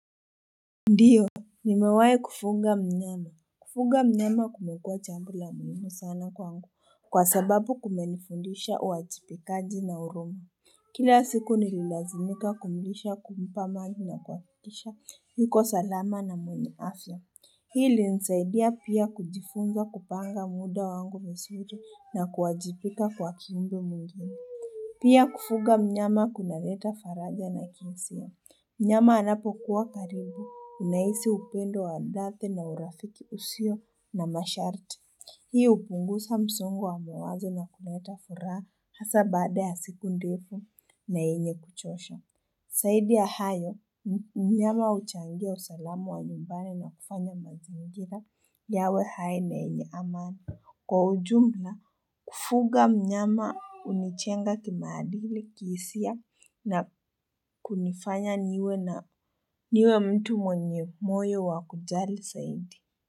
Ndiyo nimewai kufunga mnyama Kufuga mnyama kumekuwa jambo la muhimu sana kwangu kwa sababu kumenifundisha uwajibikaji na huruma kila siku nililazimika kumlisha kumpa maji na kuhakikisha yuko salama na mwenye afya Hii ilinisaidia pia kujifunza kupanga muda wangu vizuri na kuwajibika kwa kiumbe mwingine pia kufuga mnyama kunaleta faraja na kinsia mnyama anapokuwa karibu unahisi upendo wa dhati na urafiki usio na masharti. Hii upunguza msongu wa mawazo na kuleta furaha hasa baada ya siku ndefu na yenye kuchosha zaidi ya hayo mnyama uchangia usalamu wa nyumbani na kufanya mazingira yawe hai na yenye amani kwa ujumla kufuga mnyama unijenga kimaadili kiisia na kunifanya niwe na niwe mtu mwenye moyo wa kujali zaidi.